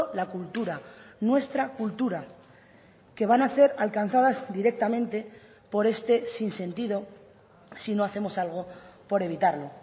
la cultura nuestra cultura que van a ser alcanzadas directamente por este sinsentido si no hacemos algo por evitarlo